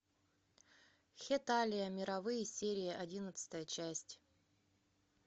хеталия мировые серии одиннадцатая часть